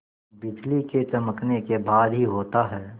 बिजली के चमकने के बाद ही होता है